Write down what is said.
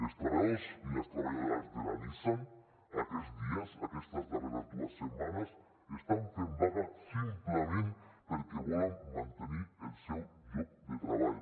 els treballadors i les treballadores de la nissan aquests dies aquestes darreres dues setmanes estan fent vaga simplement perquè volen mantenir el seu lloc de treball